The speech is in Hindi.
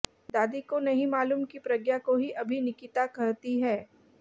दादी को नहीं मालूम की प्रज्ञा को ही अभि निकिता कहता है